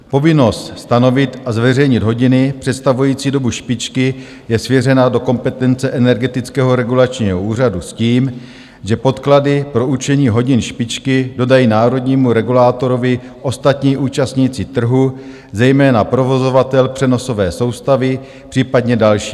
Povinnost stanovit a zveřejnit hodiny představující dobu špičky je svěřena do kompetence Energetického regulačního úřadu s tím, že podklady pro určení hodin špičky dodají národnímu regulátorovi ostatní účastníci trhu, zejména provozovatel přenosové soustavy, případně další.